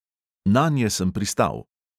Nanje sem pristal.